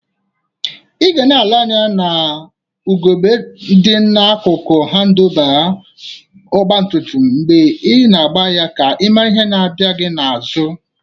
Ị gana ele anya n'ugebe dị n'akụkụ hadụlba ọgbatumtum mgbe i na-agba ya ka ị mara ihe na-abia gị n'azụ